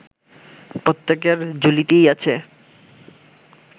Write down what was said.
প্রত্যেকের ঝুলিতেই আছে